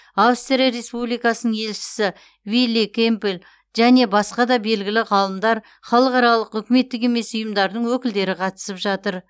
австрия республикасының елшісі вилли кемпел және басқа да белгілі ғалымдар халықаралық үкіметтік емес ұйымдардың өкілдері қатысып жатыр